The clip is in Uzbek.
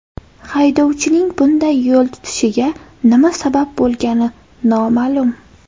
Haydovchining bunday yo‘l tutishiga nima sabab bo‘lgani noma’lum.